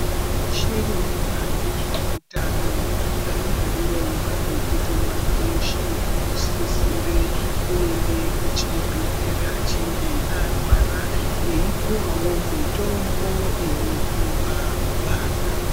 Veshe vanoona ngezveutano vane hurongwa hwekuti mwana weshe unosise kuenda kuchibhehlera anenge arwara eyipiwawo mutombo unopiwa vana.